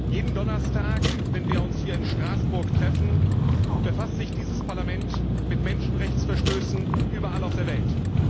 Jeden Donnerstag, wenn wir uns hier in Straßburg treffen, befasst sich dieses Parlament mit Menschenrechtsverstößen überall auf der Welt.